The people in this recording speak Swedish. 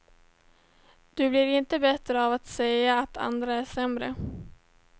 Du blir inte bättre av att säga att andra är sämre.